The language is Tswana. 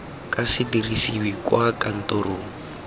ka se dirisiwe kwa kantorong